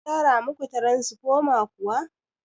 An gyara muku taransifoma kuwa?